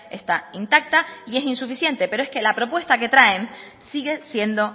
está intacta y es insuficiente pero es que la propuesta que traen sigue siendo